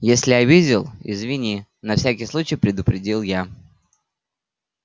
если обидел извини на всякий случай предупредил я